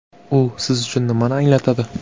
U siz uchun nimani anglatadi?